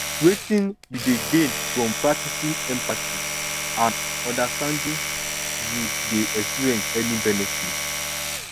wetin you dey gain from practicing empathy and understanding you dey experience any benefits